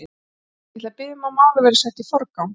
Ég ætla að biðja um að málið verði sett í forgang.